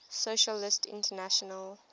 socialist international